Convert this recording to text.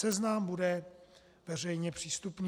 Seznam bude veřejně přístupný.